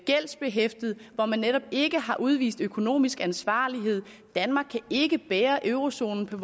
gældsbehæftet og hvor man netop ikke har udvist økonomisk ansvarlighed danmark kan ikke bære eurozonen på